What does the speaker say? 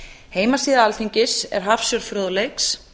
heimasíða alþingis er hafsjór fróðleiks